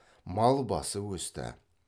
мал басы өсті